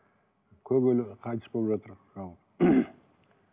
көп қайтыс болып жатыр халық